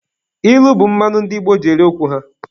Ilu bụ mmanụ ndị Igbo ji eri okwu ha.